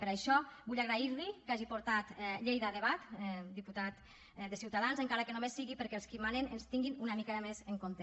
per això vull agrair li que hagi portat lleida a debat diputat de ciutadans encara que només sigui perquè els qui manen ens tinguin una mica més en compte